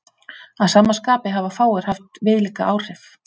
Að sama skapi hafa fáir haft viðlíka áhrif.